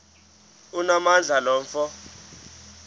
onamandla lo mfo